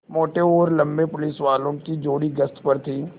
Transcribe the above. मोटे और लम्बे पुलिसवालों की जोड़ी गश्त पर थी